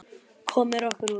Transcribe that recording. Komum okkur út.